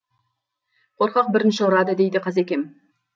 қорқақ бірінші ұрады дейді қазекем